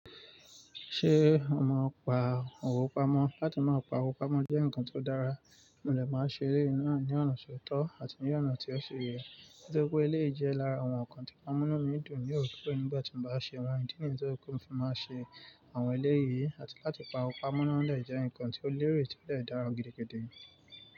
Ṣé ọ mọ́ pa òwó pamọ́? Láti má pa owó pamọ́ jẹ́ ǹkan tó dára, mo lè máa ṣe eré náà ní ọ̀nà tó tọ́ àti ní ọ̀nà tí ó ṣi yẹ. Nítorí pé eléyìí jẹ́ lára àwọn ǹkan tí ó máà n múnú mí dùn ní òrèkóòrè nígbà tí mo bá ṣe àwọn ìdí nìyí tó jẹ́ pé mo fi máa ṣe àwọn eléyìí àti láti pa pamọ́ náà lè jẹ́ ǹkan tó lérè tí ó lè dára gidigidi.